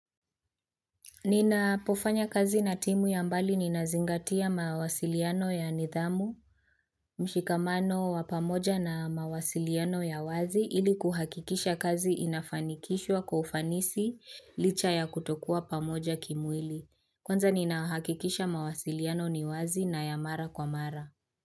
Ninapofanya kazi na timu ya mbali ninazingatia mawasiliano ya nidhamu, mshikamano wa pamoja na mawasiliano ya wazi ili kuhakikisha kazi inafanikishwa kwa ufanisi licha ya kutokuwa pamoja kimwili. Kwanza nina hakikisha mawasiliano ni wazi na ya mara kwa mara.